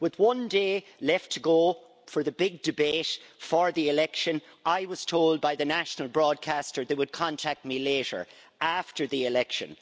With one day left to go for the big debate for the election, I was told by the national broadcaster that they would contact me later, after the election.